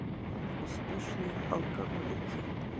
успешные алкоголики